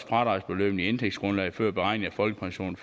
fradragsbeløbene i indtægtsgrundlaget før beregning af folkepension